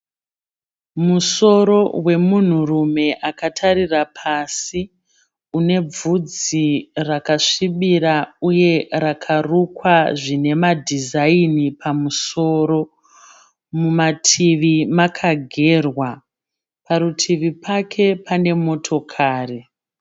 Musoro wemunhurume akatarira pasi. Unebvudzi rakasvibira uye rakarukwa zvine madhizaini pamusoro. Mumativi makagerwa. Parutivi pake pane motokari.